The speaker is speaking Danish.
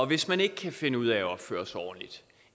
hvis man ikke kan finde ud af at opføre sig ordentligt